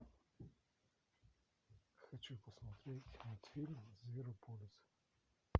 хочу посмотреть мультфильм зверополис